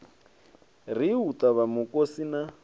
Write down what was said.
ri u ṱavha mukosi na